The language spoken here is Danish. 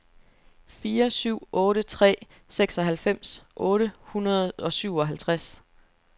fire syv otte tre seksoghalvfems otte hundrede og syvoghalvtreds